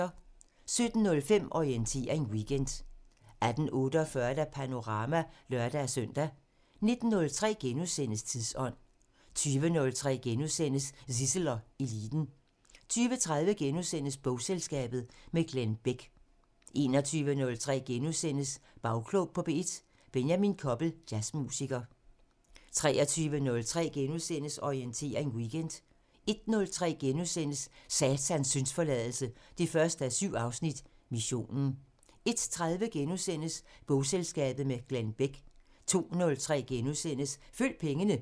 17:05: Orientering Weekend 18:48: Panorama (lør-søn) 19:03: Tidsånd * 20:03: Zissel og Eliten * 20:30: Bogselskabet – med Glenn Bech * 21:03: Bagklog på P1: Benjamin Koppel, jazzmusiker * 23:03: Orientering Weekend * 01:03: Satans syndsforladelse 1:7 – Missionen * 01:30: Bogselskabet – med Glenn Bech * 02:03: Følg pengene *